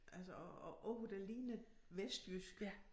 Altså og ord der ligner vestjysk